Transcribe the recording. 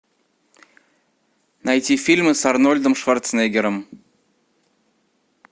найти фильмы с арнольдом шварценеггером